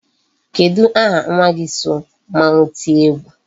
Kedụ aha nwa gi so mmanwu tie egwu?